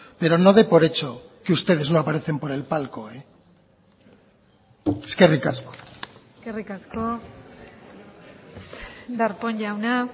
pero no de por hecho que ustedes no aparecen por el palco eskerrik asko eskerrik asko darpón jauna